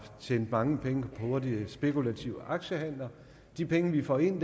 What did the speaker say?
tjent mange penge på hurtige spekulative aktiehandler de penge vi får ind